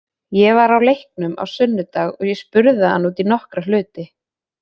Ég var á leiknum á sunnudag og ég spurði hann út í nokkra hluti.